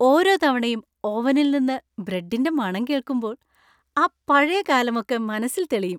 ഓരോ തവണയും ഓവനിൽ നിന്ന് ബ്രെഡിൻ്റെ മണം കേൾക്കുമ്പോൾ ആ പഴയ കാലമൊക്കെ മനസ്സിൽ തെളിയും.